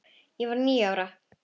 Ég var níu ára.